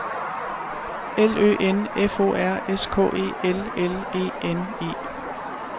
L Ø N F O R S K E L L E N E